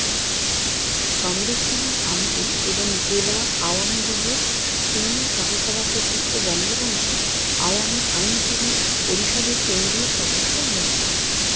কামরুজ্জামান কামরুল এবং জেলা আওয়ামীলীগের সিনিয়র সহসভপতি ও বঙ্গবন্ধু আওয়ামী আইনজীবী পরিষদের কেন্দ্রীয় সদস্য মো